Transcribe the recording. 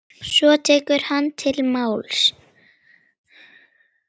Svo tekur hann til máls